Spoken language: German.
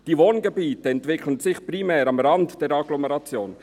Die Wohngebiete entwickelten sich primär am Rand der Agglomeration.»